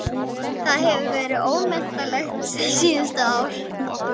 Það hefur verið ómetanlegt síðustu ár!